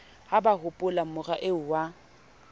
ha ba hopolamora eo wa